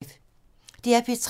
DR P3